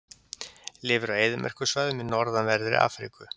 Lifir á eyðimerkursvæðum í norðanverðri Afríku.